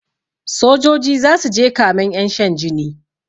Sojoji zasuje kamen ƴan shan jini